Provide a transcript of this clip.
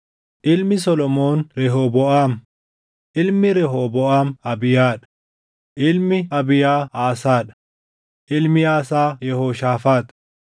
Ilmi Solomoon Rehooboʼaam; ilmi Rehooboʼaam Abiyaa dha; ilmi Abiyaa Aasaa dha; ilmi Aasaa Yehooshaafaax;